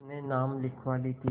अपने नाम लिखवा ली थी